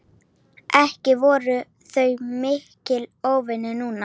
Ekki voru þau miklir óvinir núna.